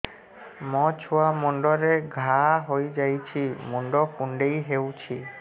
ମୋ ଛୁଆ ମୁଣ୍ଡରେ ଘାଆ ହୋଇଯାଇଛି ମୁଣ୍ଡ କୁଣ୍ଡେଇ ହେଉଛି